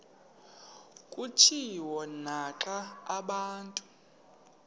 kutshiwo naxa abantu